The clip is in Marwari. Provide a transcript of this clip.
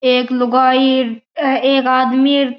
एक लुगाई एक आदमी --